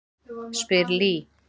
spyr Lee.